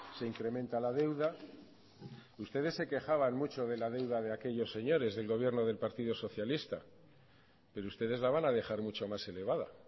se incrementa la deuda ustedes se quejaban mucho de la deuda de aquellos señores del gobierno del partido socialista pero ustedes la van a dejar mucho más elevada